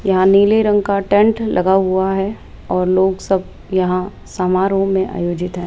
यहां नीले रंग का टेंट लगा हुआ है और लोग सब यहां समारोह में आयोजित हैं।